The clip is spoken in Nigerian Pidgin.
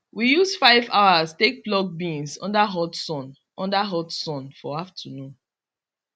we use 5 hours take pluck beans under hot sun under hot sun for afternoon